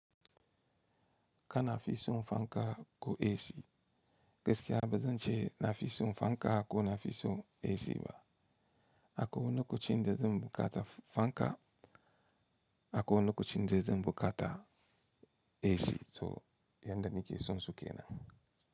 Ka nafi son fanka ko esi, gaskiya bazance nafi son fanka ko nafi son esi ba. A kowanne naku cinje zan bukata fanka, a kowanne naku cinje zanbuka ta esi, so yanda nake son suke nan.